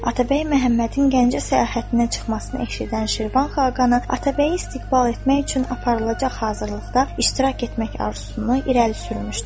Atabəy Məhəmmədin Gəncə səyahətinə çıxmasını eşidən Şirvan xaqanı Atabəyi istiqbal etmək üçün aparılacaq hazırlıqda iştirak etmək arzusunu irəli sürmüşdür.